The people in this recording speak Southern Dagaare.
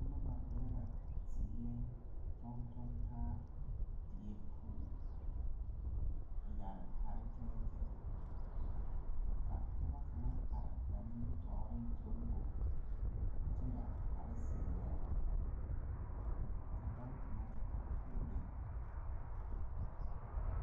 Noba zeŋɛ toŋ toŋ taa die poɔŋ a yɛre kpare tɛɛtɛɛ, ka pɔgɔ kaŋa are ba nimitɔreŋ Toribo kyɛ yɛre kpare zeɛ, ka dao kaŋa te are puoriŋ.